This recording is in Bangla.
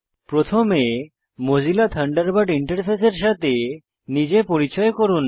প্রথমে মোজিলা থান্ডারবার্ড ইন্টারফেসের সাথে নিজে পরিচয় করুন